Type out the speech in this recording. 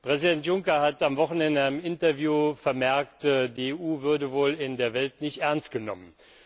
Präsident Juncker hat am Wochenende in einem Interview vermerkt, die EU würde wohl in der Welt nicht ernst genommen.